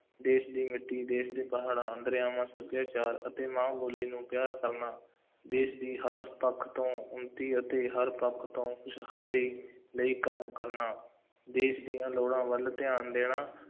ਦੇਸ਼ ਦੀ ਮਿੱਟੀ, ਦੇਸ਼ ਦੇ ਪਹਾੜਾਂ, ਦਰਿਆਵਾਂ, ਸੱਭਿਆਚਾਰ ਅਤੇ ਮਾਂ ਬੋਲੀ ਨੂੰ ਪਿਆਰ ਕਰਨਾ, ਦੇਸ਼ ਦੀ ਹਰ ਪੱਖ ਤੋਂ ਉੱਨਤੀ ਅਤੇ ਹਰ ਪੱਖ ਤੋਂ ਖੁਸ਼ਹਾਲੀ ਲਈ ਕੰਮ ਕਰਨਾ, ਦੇਸ਼ ਦੀਆਂ ਲੋੜਾਂ ਵੱਲ ਧਿਆਨ ਦੇਣਾ,